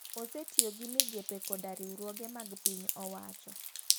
Osetiyo gi migepe koda riwruoge mag piny owacho.